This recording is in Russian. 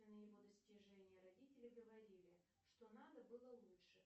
его достижения родители говорили что надо было лучше